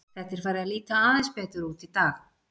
Þetta er farið að líta aðeins betur út í dag.